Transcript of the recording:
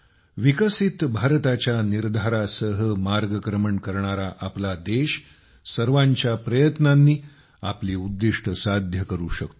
विकसित भारताच्या निर्धारासह मार्गक्रमण करणारा आपला देश सर्वांच्या प्रयत्नांनी आपली उद्दिष्ट्ये साध्य करू शकतो